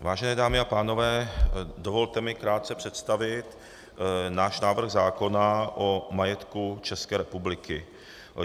Vážené dámy a pánové, dovolte mi krátce představit náš návrh zákona o majetku České republiky.